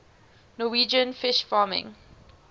norwegian fish farming